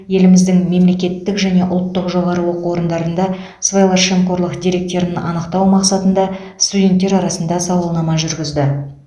еліміздің мемлекеттік және ұлттық жоғары оқу орындарында сыбайлас жемқорлық деректерін анықтау мақсатында студенттер арасында сауалнама жүргізді